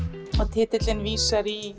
titillinn vísar í